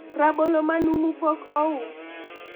rabolo manumu pok ous